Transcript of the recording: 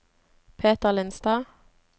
Peter Lindstad